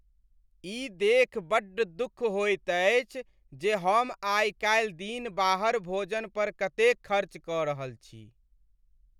ई देखि बड्ड दुख होइत अछि जे हम आई काल्हि दिन बाहर भोजन पर कतेक खर्च कऽ रहल छी।